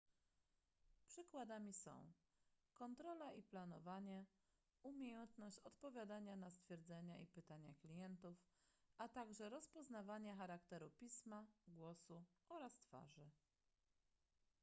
przykładami są kontrola i planowanie umiejętność odpowiadania na stwierdzenia i pytania klientów a także rozpoznawanie charakteru pisma głosu oraz twarzy